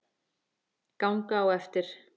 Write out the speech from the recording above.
Ganga á eftir.